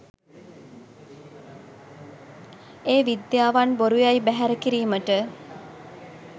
ඒ විද්‍යාවන් බොරු යැයි බැහැර කිරීමට.